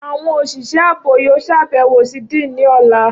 Awọn oṣiṣẹ aabo yoo ṣabẹwo si Dean ni ọla.